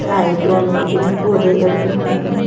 साइटों में पेड़-पौधे लगे हुए हैं।